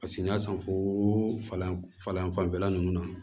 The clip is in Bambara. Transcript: Paseke n y'a san folan falan fanfɛla ninnu na